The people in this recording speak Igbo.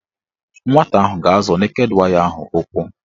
Nwata ahụ ga-azọ neked waya ahụ ụkwụ